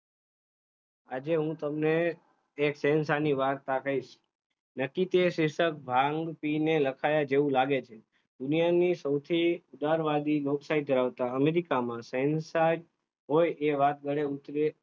આજે હું તમને એક શહેનશાહ ની વાર્તા કહીશ. નક્કી તે શીર્ષક ભાંગ પીને લખાયા જેવું લાગે છે, દુનિયાની સૌથી ઉદ્ધારવાદી લોકશાહી ધરાવતા અમેરિકામાં શહેનશાહ હોય એ વાત ગળે ઉતરે